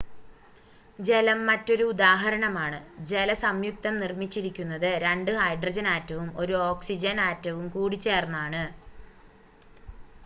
ജലം മറ്റൊരു ഉദാഹരണമാണ് ജലസംയുക്തം നിർമ്മിച്ചിരിക്കുന്നത് 2 ഹൈഡ്രജൻ ആറ്റവും 1 ഓക്സിജൻ ആറ്റവും കൂടിച്ചേർന്നാണ്